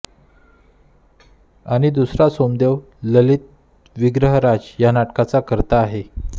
आणि दुसरा सोमदेव ललित विग्रहराज या नाटकाचा कर्ता आहे